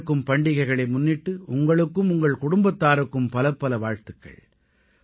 வரவிருக்கும் பண்டிகைகளை முன்னிட்டு உங்களுக்கும் உங்கள் குடும்பத்தாருக்கும் பலப்பல வாழ்த்துக்கள்